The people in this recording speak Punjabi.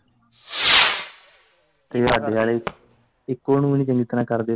ਤੇ ਹਾਡੇ ਆਲੇ ਇੱਕੋ ਓ ਨੀ ਚੰਗੀ ਤਰਾਂ ਕਰਦੇ ਤੇ ਕੀ ਕਰਨਾ।